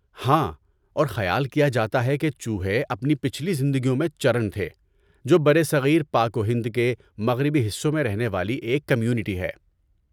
ہاں، اور خیال کیا جاتا ہے کہ چوہے اپنی پچھلی زندگیوں میں چرن تھے، جو برصغیر پاک و ہند کے مغربی حصوں میں رہنے والی ایک کمیونٹی ہے۔